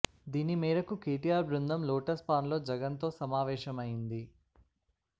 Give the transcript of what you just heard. దీని మేరకు కేటీఆర్ బృందం లోటస్ పాండ్ లో జగన్ తో సమావేశమైంది